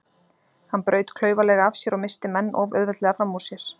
Hann braut klaufalega af sér og missti menn of auðveldlega fram úr sér.